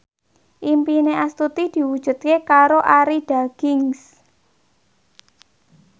impine Astuti diwujudke karo Arie Daginks